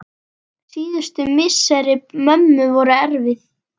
Síðustu misseri mömmu voru erfið.